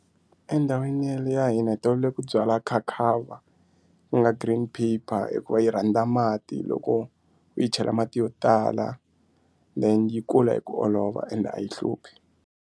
Endhawini ye le ya hina hi tolovele ku byala khakhava ku nga green paper hikuva yi rhandza mati loko u yi chela mati yo tala then yi kula hi ku olova ende a yi hluphi.